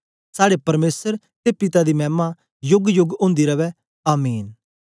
साड़े परमेसर ते पिता दी मैमा योगयोग ओंदी रवै आमीन